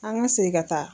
An ka segin ka taa